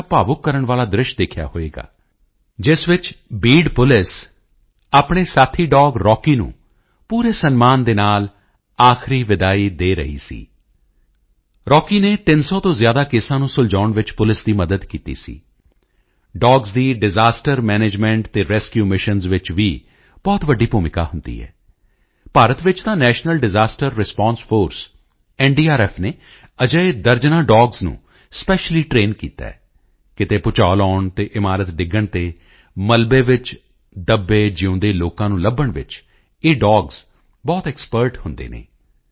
ਤੇ ਇੱਕ ਬੜਾ ਭਾਵੁਕ ਕਰਨ ਵਾਲਾ ਦ੍ਰਿਸ਼ ਦੇਖਿਆ ਹੋਵੇਗਾ ਜਿਸ ਵਿੱਚ ਬੀਡ ਪੁਲਿਸ ਆਪਣੇ ਸਾਥੀ ਡੋਗ ਰੌਕੀ ਨੂੰ ਪੂਰੇ ਸਨਮਾਨ ਦੇ ਨਾਲ ਆਖਰੀ ਵਿਦਾਈ ਦੇ ਰਹੀ ਸੀ ਰੌਕੀ ਨੇ 300 ਤੋਂ ਜ਼ਿਆਦਾ ਕੇਸਾਂ ਨੂੰ ਸੁਲਝਾਉਣ ਵਿੱਚ ਪੁਲਿਸ ਦੀ ਮਦਦ ਕੀਤੀ ਸੀ ਡੌਗਜ਼ ਦੀ ਡਿਸਐਸਟਰ ਮੈਨੇਜਮੈਂਟ ਅਤੇ ਰੈਸਕਿਊ ਮਿਸ਼ਨਜ਼ ਵਿੱਚ ਵੀ ਬਹੁਤ ਵੱਡੀ ਭੂਮਿਕਾ ਹੁੰਦੀ ਹੈ ਭਾਰਤ ਵਿੱਚ ਤਾਂ national disaster response force NDRF ਨੇ ਅਜਿਹੇ ਦਰਜਨਾਂ ਡੌਗਜ਼ ਨੂੰ ਸਪੈਸ਼ਲੀ ਟਰੇਨ ਕੀਤਾ ਹੈ ਕਿਤੇ ਭੂਚਾਲ ਆਉਣ ਤੇ ਇਮਾਰਤ ਡਿੱਗਣ ਤੇ ਮਲਬੇ ਵਿੱਚ ਦੱਬੇਜਿਊਂਦੇ ਲੋਕਾਂ ਨੂੰ ਲੱਭਣ ਵਿੱਚ ਇਹ ਡੌਗਜ਼ ਬਹੁਤ ਐਕਸਪਰਟ ਹੁੰਦੇ ਹਨ